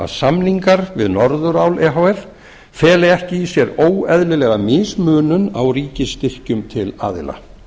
samningar við norðurál e h f feli ekki í sér óeðlilega mismunun á ríkisstyrkjum til aðila